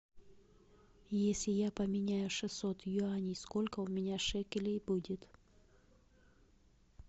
если я поменяю шестьсот юаней сколько у меня шекелей будет